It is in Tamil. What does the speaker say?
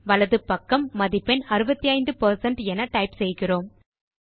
வலது பக்கம் மதிப்பெண் 65 என டைப் செய்கிறோம்